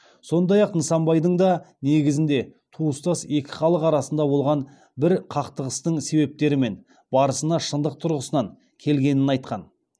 сондай ак нысанбайдың да негізінде туыстас екі халық арасында болған бір кақтығыстың себептері мен барысына шындық тұрғысынан келгенін айтқан